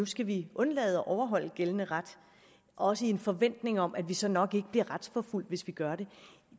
skal vi undlade at overholde gældende ret også i en forventning om at vi så nok ikke bliver retsforfulgt hvis vi gør